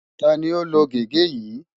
Ta ni ó lo gege yìí?